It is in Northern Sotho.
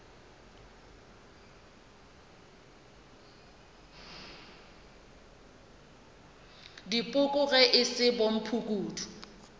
dipoko ge e se bomphukudu